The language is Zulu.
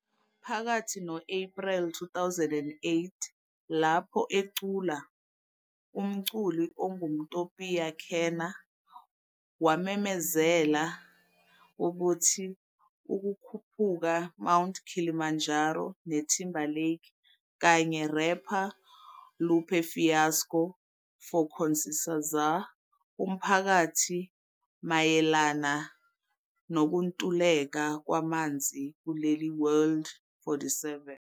Phakathi no-April 2008, lapho ecula, umculi ongumTopiya Kenna wamemezela ukuthi ukukhuphuka Mount Kilimanjaro ne Timberlake kanye rapper Lupe Fiasco for conciencizar umphakathi mayelana nokuntuleka kwamanzi kuleli world.47